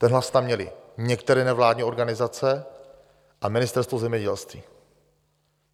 Ten hlas tam měly některé nevládní organizace a Ministerstvo zemědělství.